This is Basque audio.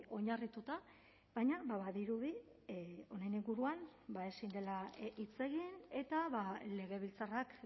oinarrituta baina badirudi honen inguruan ezin dela hitz egin eta legebiltzarrak